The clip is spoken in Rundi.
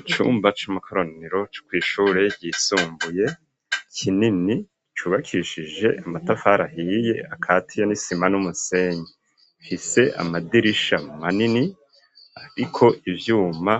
icumba c'amakoraniro c,ishure ryisumbuye kinini cubakishije amatafari ahiye akatiye nisima n'umusenyi, rifise amadirisha manini, ariko ivyuma,